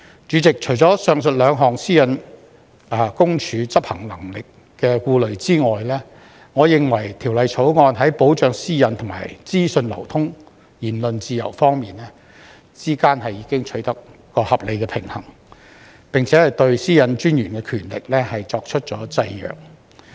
主席，除上述兩項私隱公署執行能力的顧慮之外，我認為《條例草案》在保障私隱和資訊流通、言論自由之間已取得合理的平衡，並對私隱專員權力作出了制約。